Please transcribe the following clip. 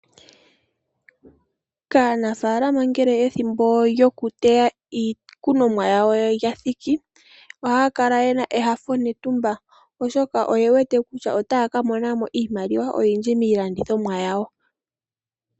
Aanafaalama ngele ethimbo lyokuteya iikunomwa yawo lya thiki, ohaya kala ye na enyanyu netumba, oshoka oye wete kutya otaya ka mona mo iimaliwa oyindji miilandithomwa yawo.